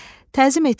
Təzim etmək,